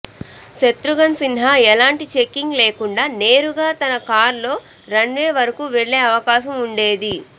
శత్రుఘ్న సిన్హా ఎలాంటి చెకింగ్ లేకుండా నేరుగా తన కారులో రన్వే వరకూ వెళ్లే అవకాశం ఉండేది